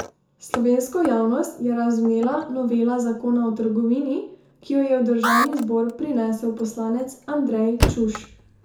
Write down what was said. Slovensko javnost je razvnela novela zakona o trgovini, ki jo je v državni zbor prinesel poslanec Andrej Čuš.